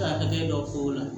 Taa hakɛ dɔ fɔ o la